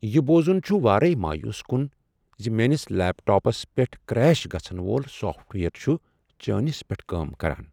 یہ بوزن چھ وارے مایوس کُن ز میٲنس لیپ ٹاپس پیٹھ کریش گژھن وول سافٹ ویئر چھ چٲنس پیٹھ کٲم کران۔